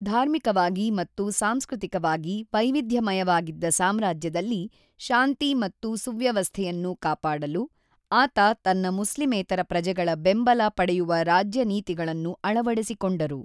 ಧಾರ್ಮಿಕವಾಗಿ ಮತ್ತು ಸಾಂಸ್ಕೃತಿಕವಾಗಿ ವೈವಿಧ್ಯಮಯವಾಗಿದ್ದ ಸಾಮ್ರಾಜ್ಯದಲ್ಲಿ ಶಾಂತಿ ಮತ್ತು ಸುವ್ಯವಸ್ಥೆಯನ್ನು ಕಾಪಾಡಲು, ಆತ ತನ್ನ ಮುಸ್ಲಿಮೇತರ ಪ್ರಜೆಗಳ ಬೆಂಬಲ ಪಡೆಯುವ ರಾಜ್ಯನೀತಿಗಳನ್ನು ಅಳವಡಿಸಿಕೊಂಡರು.